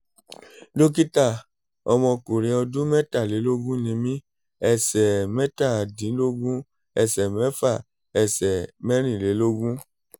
dókítà ọmọkùnrin ọdún mẹ́tàlélógún ni mí ẹsẹ̀ mẹ́tàdínlógún ẹsẹ̀ mẹ́fà ẹ̀sẹ̀ mẹ́rìnlélógún